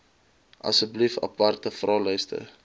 asseblief aparte vraelyste